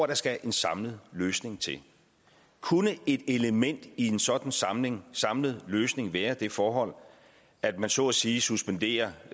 der skal en samlet løsning til kunne et element i en sådan samlet samlet løsning være det forhold at man så at sige suspenderer